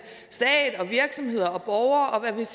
stat og virksomheder og borgere og hvad der